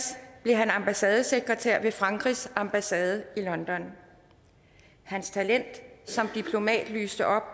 blev han ambassadesekretær ved frankrigs ambassade i london hans talent som diplomat lyste op og